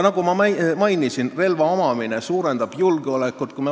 Nagu ma mainisin, relva omamine suurendab julgeolekut.